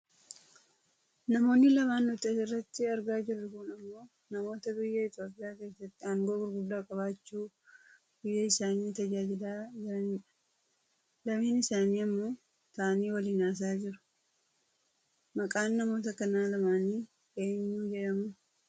Namoonni lamaan nuti asirratti argaa jirru kun ammoo namoota biyya Itoopiyaa keessatti aangoo gurguddaa qabaachuu biyya isaanii tajaajilaa turanidha. Lameen isaanii ammoo taa'anii waliin haasa'aa jiru. Maqaan namoota kana lamaani eenyu jedhamu?